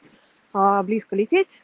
а близко лететь